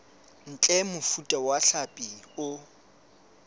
ntle mofuta wa hlapi o